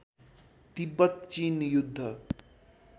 तिब्बत चिन युद्ध